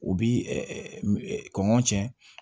U bi kɔngɔ cɛn